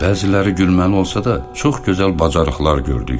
Bəziləri gülməli olsa da, çox gözəl bacarıqlar gördük.